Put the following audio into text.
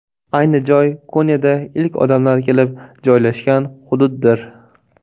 Ayni joy Konyada ilk odamlar kelib joylashgan hududdir.